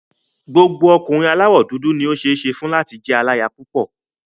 Gbogbo ọkùnrin aláwọ̀ dúdú ni ó ṣeé ṣe fún láti jẹ́ aláya púpọ̀.